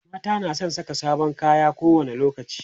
mata na San Saka sabon kaya ko wani lokaci